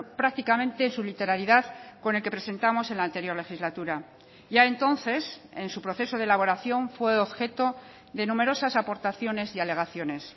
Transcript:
prácticamente su literalidad con el que presentamos en la anterior legislatura ya entonces en su proceso de elaboración fue objeto de numerosas aportaciones y alegaciones